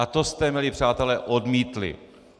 A to jste, milí přátelé, odmítli.